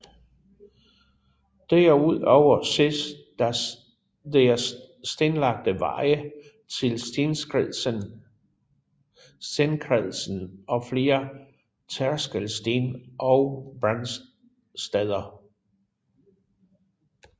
Derudover ses der stenlagte veje til stenkredsen og flere tærskelsten og brandsteder